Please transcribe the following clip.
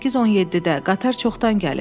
18-17-də qatar çoxdan gəlib.